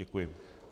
Děkuji.